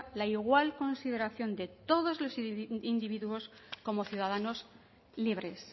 la igual consideración de todos los individuos como ciudadanos libres